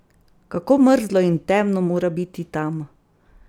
Kako mrzlo in temno mora biti tam!